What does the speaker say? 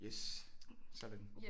Yes sådan